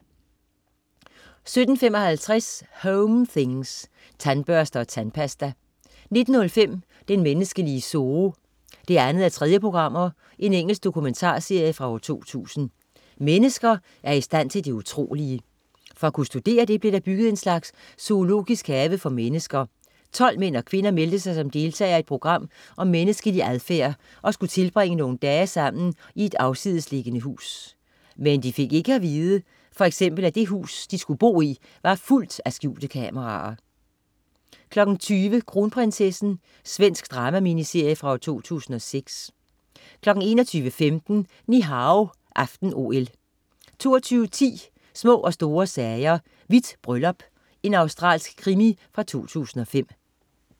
17.55 Home things. Tandbørste og tandpasta 19.05 Den menneskelige zoo 2:3. Engelsk dokumentarserie fra 2000 Mennesker er i stand til det utrolige. For at kunne studere det blev der bygget en slags zoologisk have for mennesker. 12 mænd og kvinder meldte sig som deltagere i et program om menneskelig adfærd og skulle tilbringe nogle dage sammen i et afsidesliggende hus. Men de fik ikke alt at vide, for eksempel at det hus, de skulle bo i, var fuldt af skjulte kameraer! 20.00 Kronprinsessen. Svensk drama-miniserie fra 2006 21.15 Ni Hao aften-OL 22.10 Små og store sager: Hvidt bryllup. Australsk krimi fra 2005